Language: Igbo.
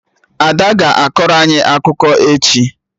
Ada a ga akọrọ anyị akụkọ echi?